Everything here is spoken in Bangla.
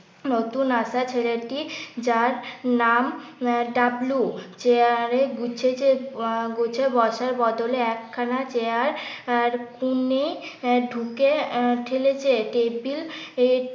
নতুন আসা ছেলে টি যার নাম আহ ডাবলু, চেয়ারে গুছিয়ে বসার বদলে একখানা চেয়ার ঢুকে ঠেলেছে টেবিল